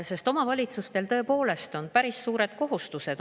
Sest omavalitsustel tõepoolest on päris suured kohustused.